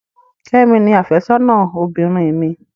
Kẹ́mi ni àfẹ́sọ́nà obìnrin mi.